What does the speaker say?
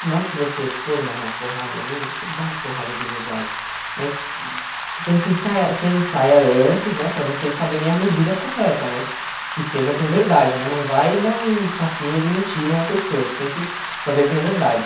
Na hora que você for dar uma porrada em alguém, você dá a porrada de verdade, mas você tem que ensaiar, você ensaia antes, né, para vocês saberem a medida correta, mas que seja com verdade, né, não vai dar um tapinha de mentira na pessoa, você tem que fazer com verdade.